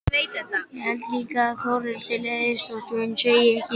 Held líka að Þórhildi leiðist þótt hún segi ekkert.